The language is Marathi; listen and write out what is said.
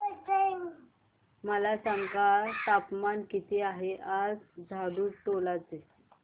मला सांगा तापमान किती आहे आज झाडुटोला चे